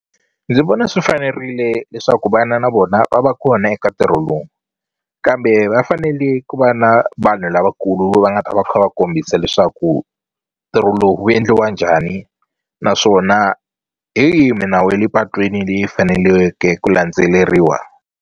Ndzi vona swi fanerile leswaku vana na vona va va kona eka ntirho lowu kambe va fanele ku va na vanhu lavakulu va nga ta va kha va kombisa leswaku ntirho lowu wu endliwa njhani naswona hi yihi minawu ya le patwini leyi faneliweke ku landzeleriwa.